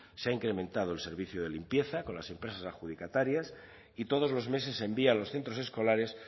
se ha incrementado el servicio de limpieza con las empresas adjudicatarias y todos los meses se envía a los centros escolares